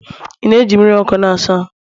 ị na-eji mmiri ọkụ na-asa ahụ?